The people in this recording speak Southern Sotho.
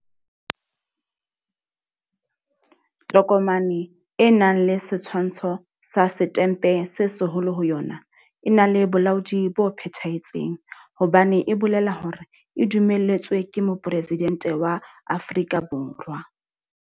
Tokomane e nang le setshwantsho sa Setempe se Seholo ho yona e na le bolaodi bo phethahetseng hobane e bolela hore e dumelletswe ke Mopresidente wa Afrika Borwa.